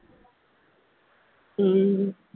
ഉം